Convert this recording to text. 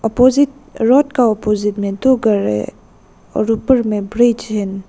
Opposite road का opposite में दो घर है और ऊपर में ब्रिज है।